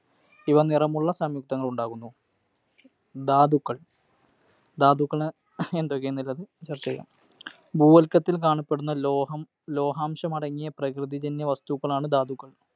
ഇവ നിറമുള്ള സംയുക്തങ്ങളുണ്ടാകുന്നു. ധാതുക്കൾ. ധാതുക്കള് എന്തൊക്കെയുണ്ടെന്നു ചർച്ച ചെയ്യാം. ഭൂവൽക്കത്തിൽ കാണപ്പെടുന്ന ലോഹാംശമടങ്ങിയ പ്രകൃതിജന്യ വസ്തുക്കളാണ് ധാതുക്കൾ.